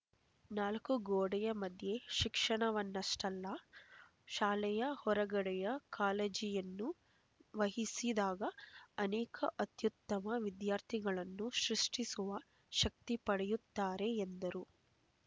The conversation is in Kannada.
ನಾಲ್ಕೂ ಗೋಡೆಯ ಮಧ್ಯೆಯೇ ಶಿಕ್ಷಣವನ್ನಷ್ಠೇ ಅಲ್ಲ ಶಾಲೆಯ ಹೊರಗಡೆಯ ಕಾಳಜಿಯನ್ನು ವಹಿಸಿದಾಗ ಅನೇಕ ಅತ್ಯುತ್ತಮ ವಿದ್ಯಾರ್ಥಿಗಳನ್ನು ಸೃಷ್ಠಿಸುವ ಶಕ್ತಿ ಪಡೆಯುತ್ತಾರೆ ಎಂದರು